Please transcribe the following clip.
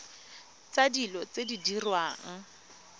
tsa dilo tse di diriwang